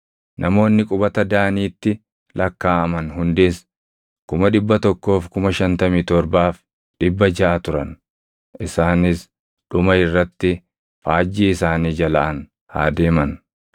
Namoonni qubata Daaniitti lakkaaʼaman hundis 157,600 turan. Isaanis dhuma irratti faajjii isaanii jalaan haa deeman.